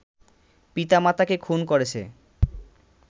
পিতা-মাতাকে খুন করেছে